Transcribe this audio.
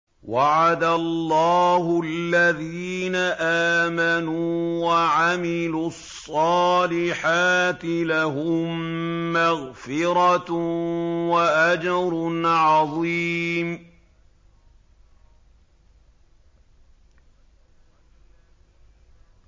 وَعَدَ اللَّهُ الَّذِينَ آمَنُوا وَعَمِلُوا الصَّالِحَاتِ ۙ لَهُم مَّغْفِرَةٌ وَأَجْرٌ عَظِيمٌ